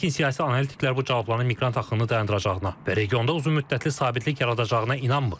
Lakin siyasi analitiklər bu cavabların miqrant axını dayandıracağına və regionda uzunmüddətli sabitlik yaradacağına inanmır.